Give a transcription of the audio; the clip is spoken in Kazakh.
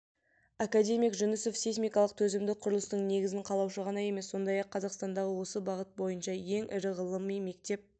академик жүнісов сейсмикалық төзімді құрылыстың негізін қалаушы ғана емес сондай-ақ қазақстандағы осы бағыт бойынша ең ірі ғылыми мектеп